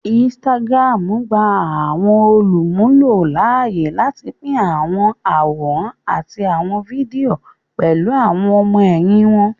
Instagram gbà àwọn olumulo láàyè láti pin àwọn àwòrán àti àwon fídíò pẹlú àwon ọmọ-ẹhin wón